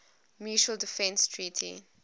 mutual defense treaty